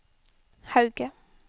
Hauge